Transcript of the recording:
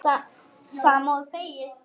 Sama og þegið!